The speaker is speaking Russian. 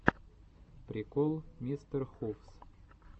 прикол мистерхувс